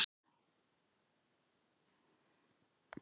Ég er auðmjúk og þakka drottni.